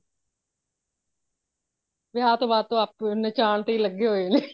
ਵਿਆਹ ਤੋਹ ਬਾਦ ਤੇ ਨਾਚਾਂਨ ਤੇ ਹੀ ਲਗੇ ਹੋਏ ਨੇ